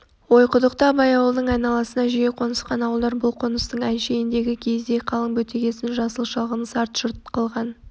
ойқұдықта абай ауылының айналасына жиі қонысқан ауылдар бұл қоныстың әншейіндегі киіздей қалың бетегесін жасыл шалғынын сар жұрт қылған